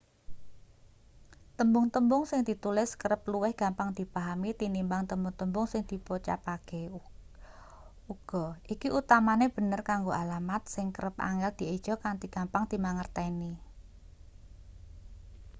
tembung-tembung sing ditulis kerep luwih gampang dipahami tinimbang tembung-tembung sing dipocapake uga iki utamane bener kanggo alamat sing kerep angel dieja kanthi gampang dimangerteni